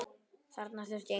Þarna þurfti engin orð.